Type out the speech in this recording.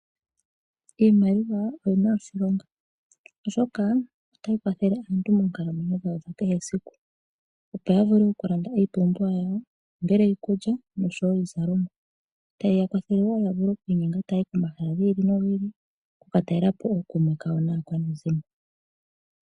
Iimaliwa oyina oshilonga oshoka otayi kwathele aantu moonkalamwenyo dhawo dhakehesiku opo ya vule oku landa iipumbiwa yawo ongele iikulya noshowo iizalomwa tayi ya kwathelewo ya vule oku inyenga tayayi pomahala gi ili nogi ili oku ka talelapo ookume kawo naakwanezimo.